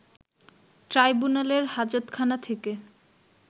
ট্রাইব্যুনালের হাজতখানা থেকে